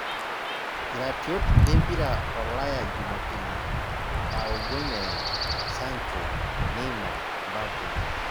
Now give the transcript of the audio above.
Iratiot lempira olaya jumapili Abumeyang' , sanjo, Neima, Mbappe